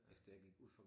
Efter jeg gik ud fra